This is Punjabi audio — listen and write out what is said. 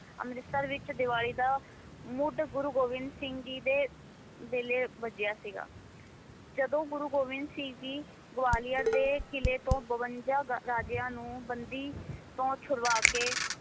ਅੰਮ੍ਰਿਤਸਰ ਵਿੱਚ ਦੀਵਾਲੀ ਦਾ ਮੁੱਢ ਗੁਰੂ ਗੋਬਿੰਦ ਸਿੰਘ ਜੀ ਦੇ ਵੇਲੇ ਬੱਝਿਆ ਸੀਗਾ ਜਦੋਂ ਗੁਰੂ ਗੋਬਿੰਦ ਸਿੰਘ ਜੀ ਗਵਾਲੀਅਰ ਦੇ ਕਿਲ੍ਹੇ ਤੋਂ ਬਵੰਜਾ ਗਾ~ ਰਾਜਿਆਂ ਨੂੰ, ਬੰਦੀ ਤੋਂ ਛੁਡਵਾ ਕੇ